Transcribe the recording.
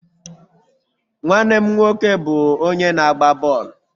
Nwanne m nwoke bụ onye na-agba bọọlụ.